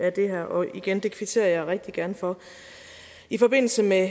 af det her og igen det kvitterer jeg rigtig gerne for i forbindelse med